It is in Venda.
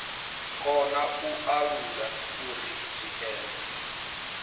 kona u alula uri zwikene